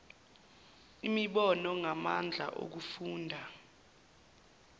imibono ngamandla okufunda